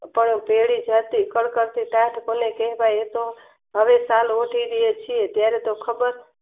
તને તેડી જાસુ કળકળતી ટાઢ ભલે એ તો હવે કાલ સુધી છે ત્યારે તો ખબર